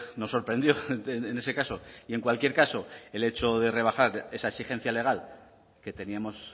nos sorprendió en ese caso y en cualquier caso el hecho de rebajar esa exigencia legal que teníamos